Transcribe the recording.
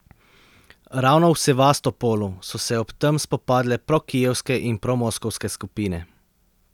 Ravno v Sevastopolu so se ob tem spopadle prokijevske in promoskovske skupine.